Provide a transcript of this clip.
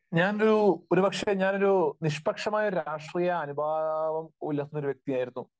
ഞാനൊരു, ഒരുപക്ഷെ ഞാനൊരു നിഷ്പക്ഷമായ ഒരു രാഷ്ട്രീയ അനുഭാവം പുലർത്തുന്ന ഒരു വ്യക്തിയായിരുന്നു.